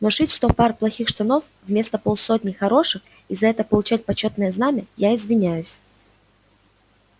но шить сто пар плохих штанов вместо полсотни хороших и за это получать почётное знамя я извиняюсь